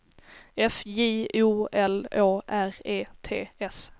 F J O L Å R E T S